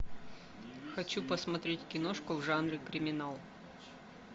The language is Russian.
хочу посмотреть киношку в жанре криминал